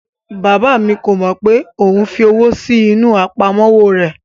Bàbá mi kò mọ pé òun fi owó sí inú àpamọ́wọ́ rẹ̀